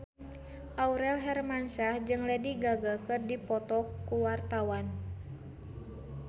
Aurel Hermansyah jeung Lady Gaga keur dipoto ku wartawan